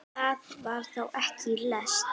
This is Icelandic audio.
Það var þá ekki læst!